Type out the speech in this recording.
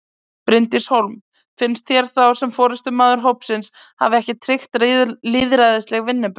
Bryndís Hólm: Finnst þér þá sem forystumaður hópsins hafi ekki tryggt lýðræðisleg vinnubrögð?